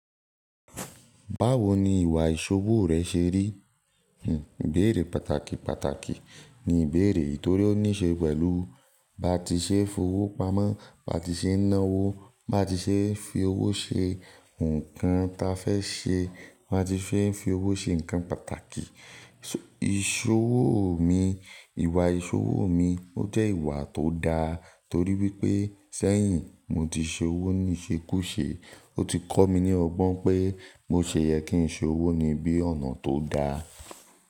Báwo ni ìwà ìṣowó rẹ ṣe rí? Hmm, ìbéèrè pàtàkì pàtàkì ní ìbéèrè yìí torí ó ní ṣe pẹ̀lú bá ti ṣe fowó pamọ́, bá ti ṣe ná owó, bá ti ṣe fi owó ṣe nǹkan ta fẹ́ ṣe, bá ti ṣe ń fi owó ṣe nǹkan pàtàkì. Ìṣowó mi, ìwà ìṣowó mi ó jẹ́ ìwà tó da torí wípé sẹ́yìn mo ti ṣe owó ní ìṣekúṣe, ó ti kọ́ mi ní ọgbọ́n pé bo ṣe yẹ kí n ṣe owó níbí ọ̀nà tó da.